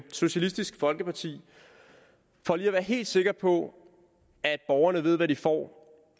socialistisk folkeparti for lige at være helt sikker på at borgerne ved hvad de får